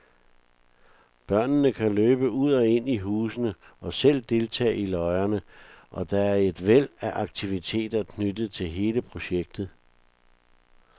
Børnene kan løbe ud og ind i husene og selv deltage i løjerne, og der er et væld af aktiviteter knyttet til hele projektet.